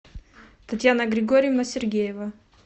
татьяна григорьевна сергеева